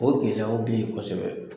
O gɛlɛyaw bɛ ye kosɛbɛ.